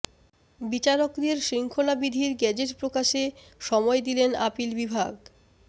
বিচারকদের শৃঙ্খলা বিধির গেজেট প্রকাশে সময় দিলেন আপিল বিভাগ